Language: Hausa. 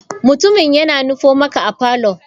Mutumin yana nufo maka a parlour.